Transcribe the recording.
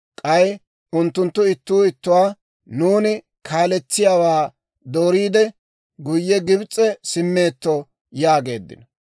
K'ay unttunttu ittuu ittuwaa, «Nuuni kaaletsiyaawaa dooriide, guyye Gibs'e simmeetto» yaageeddino.